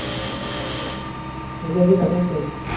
এতিয়া কি মেচেজ কৰিছে?